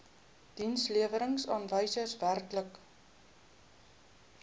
dienslewerings aanwysers werklike